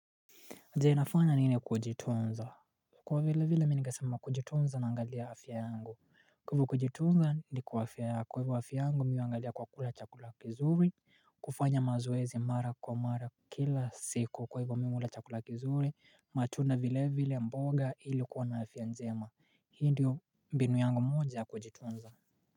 Jainafana nini kujitonza Kwa vile vile minikasama kujitonza na angalia hafya yangu Kuvu kujitonza ni kwa hafya ya kwa hivyo hafya yangu miuangalia kwa kula chakula kizuri kufanya mazoezi mara kwa mara kila siku kwa hivyo miuula chakula kizuri matunda vile vile mboga ilikuwa na hafya nzema hindi binu yangu moja ya kujitonza.